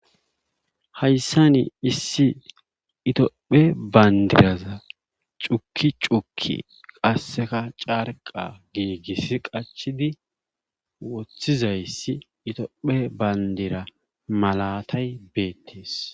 Hayssan itophe bandiraza cukki cukki qassekka carqqa giigisi qachidi wothidayssi itophe bandiray beetees.